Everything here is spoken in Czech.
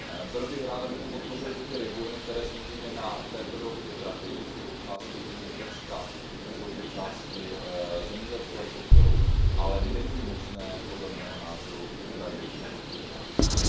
Byl bych rád, abychom podpořili i ty regiony, které samozřejmě na této dohodě tratí, jsou to určitě části Řecka, jsou to části zemědělského sektoru, ale není možné podle mého názoru Ukrajinu v tuto chvíli opustit.